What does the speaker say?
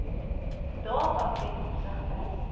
data ten opsigte